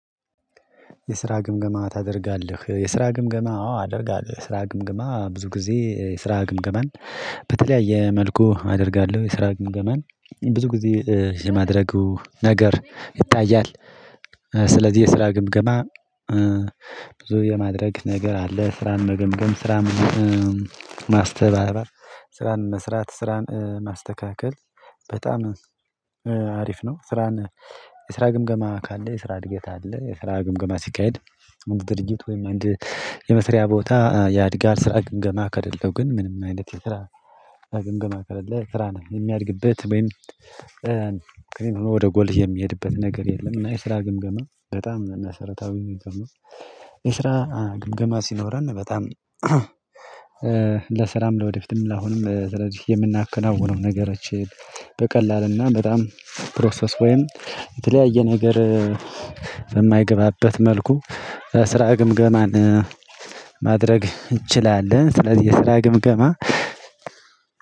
የስራ ግምገማ ታደርጋለህ? የስራ ግምገማ አዎ አደርጋለህ የስራ ግምገማ ብዙ ጊዜ ስራ ግምገማን በተለያየ መልኩ አደርጋለሁ። የስራ ግምገማን ብዙ ጊዜ የማድረጉ ነገር ይታያል። ስለዚህ የስራ ግምገማ ብዙ የማድረግ ነገር አለ። ስራን መገምገም ስራን ማስተባበር ስራን መስራት ስራን ማስተካከል በጣም አሪፍ ነው። ስራን የስራ ግምገማ ካለ የስራ እድገት አለ። የስራ ግምገማ ሲካሄድ ድርጅት ወይም አንድ የመስሪያ ቦታ ያድጋል። ስራ ግምገማ ከሌለው ግን ምንም አይነት የስራ ግምገማ ከሌለ ስራ ነው የሚያድግበት ወይም ሆኖ ወደ ጎል የሚሄድበት ነገር የለም። እና የስራ ግምገማ በጣም ነው እና መሰርታዊ የሚሄድበው እና የስራ ግምገማ ሲኖረን። በጣም ለስራም ለወደፊትም ለአሁንም ስለዚህ የምናከናውነው ነገሮችን በቀላልና በጣም ፕሮሰስ ወይም የተለያየ ነገር በማይገባበት መልኩ ስራ ግምገማን ማድረግ እንችላለን። ስለዚህ የስራ ግምገማ